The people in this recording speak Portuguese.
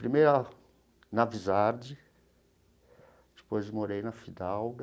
Primeiro na Wisard, depois morei na Fidalga,